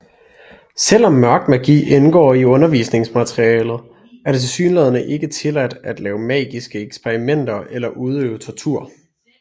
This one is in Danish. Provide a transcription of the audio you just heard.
Selvom Mørk Magi indgår i undervisningsmaterialet er det tilsyneladende ikke tilladt at lave magiske eksperimenter eller udøve tortur